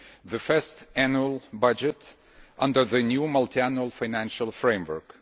the first annual budget under the new Multiannual Financial Framework.